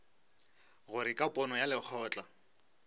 gore ka pono ya lekgotla